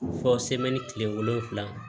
Fɔ tile wolonfila